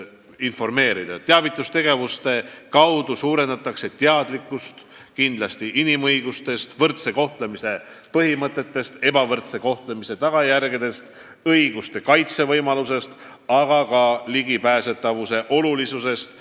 Nii tõstetakse teadlikkust inimõigustest, võrdse kohtlemise põhimõttest, ebavõrdse kohtlemise tagajärgedest, õiguste kaitse võimalusest, aga ka kõikjale ligipääsemise olulisusest.